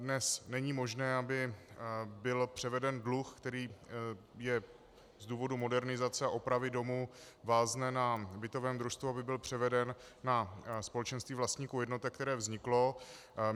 Dnes není možné, aby byl převeden dluh, který je z důvodu modernizace a opravy domu vázne na bytovém družstvu, aby byl převeden na společenství vlastníků jednotek, které vzniklo.